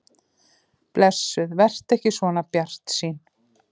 Blessuð vertu ekki svona bjartsýn.